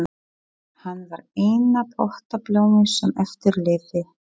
Hann var eina pottablómið sem eftir lifði.